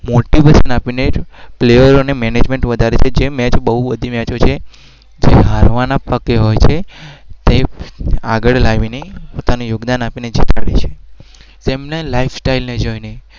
પ્લેયરો